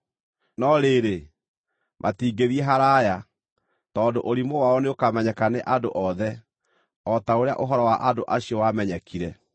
No rĩrĩ, matingĩthiĩ haraaya, tondũ ũrimũ wao nĩũkamenyeka nĩ andũ othe, o ta ũrĩa ũhoro wa andũ acio wamenyekire.